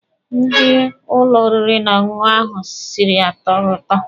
Nri ụlọ oriri na ọṅụṅụ ahụ siri atọghị ụtọ.